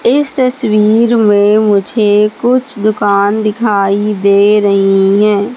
इस तस्वीर में मुझे कुछ दुकान दिखाई दे रही है।